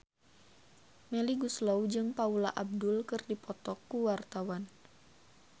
Melly Goeslaw jeung Paula Abdul keur dipoto ku wartawan